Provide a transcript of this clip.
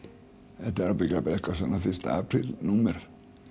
þetta er ábyggilega bara eitthvað svona fyrsta apríl númer